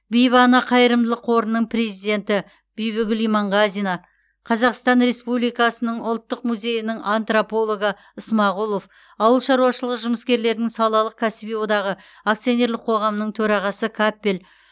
бибі ана қайырымдылық қорының президенті бибігүл иманғазина қазақстан республикасының ұлттық музейінің антропологы ысмағұлов ауыл шаруашылығы жұмыскерлерінің салалық кәсіби одағы акционерлік қоғамының төрағасы каппель